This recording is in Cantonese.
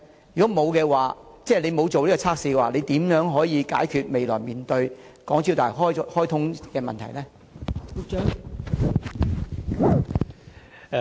如果當局不曾進行測試，當局將如何解決未來大橋開通後可能面對的問題呢？